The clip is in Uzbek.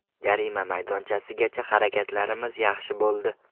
Jarima maydonchasigacha harakatlarimiz yaxshi bo‘ldi.